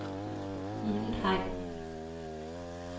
Mundheim